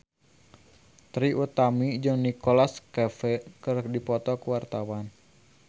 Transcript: Trie Utami jeung Nicholas Cafe keur dipoto ku wartawan